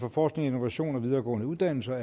for forskning innovation og videregående uddannelser